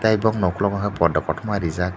tei borokni okolog kei poddo kotoma rijak.